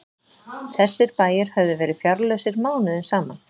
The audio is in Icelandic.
Þessir bæir höfðu verið fjárlausir mánuðum saman.